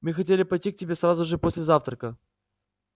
мы хотели пойти к тебе сразу же после завтрака